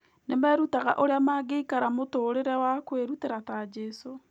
Nĩ merutaga ũrĩa mangĩikara mũtũũrĩre wa kwĩrutĩra ta Jesũ.